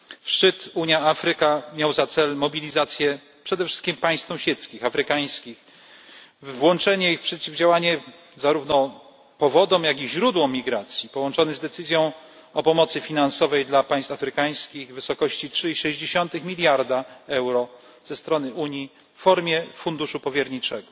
Szczyt Unia Afryka miał na celu mobilizację przede wszystkim państw sąsiedzkich, afrykańskich, i włączenie ich w przeciwdziałanie zarówno powodom jak i źródłom migracji, i był połączony z decyzją o pomocy finansowej dla państw afrykańskich w wysokości 3,6 mld EUR ze strony Unii w formie funduszu powierniczego.